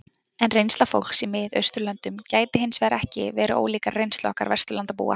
En reynsla fólks í Mið-Austurlöndum gæti hins vegar ekki verið ólíkari reynslu okkar Vesturlandabúa.